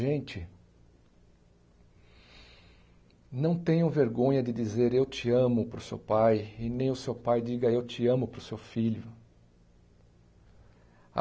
Gente, não tenham vergonha de dizer eu te amo para o seu pai e nem o seu pai diga eu te amo para o seu filho.